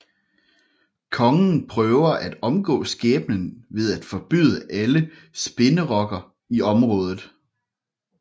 Kongen prøver at omgå skæbnen ved at forbyde alle spinderokker i området